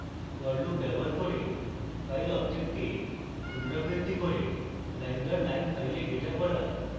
for loop ব্যবহার করে file object এ পুনরাবৃত্তি করে line দর line file ডেটা পড়া